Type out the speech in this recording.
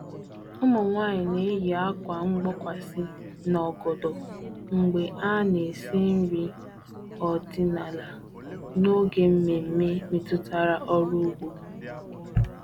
Ụmụ nwanyị na-eyi akwa mgbokwasị na ogodo mgbe ha na-esi nri ọdịnala n'oge mmemme metụtara ọrụ ugbo.